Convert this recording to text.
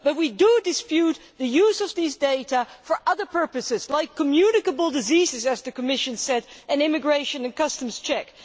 But we do dispute the use of these data for other purposes like communicable diseases, as the Commission said, and immigration and customs checks.